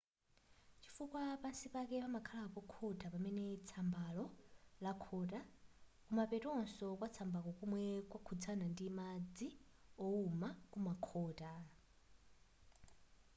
chifukwa pansi pake pamakhala pokhota pamene tsambalo lakhota kumapetonso kwatsambalo komwe kwakhudzana ndi madzi wowuma kumakhota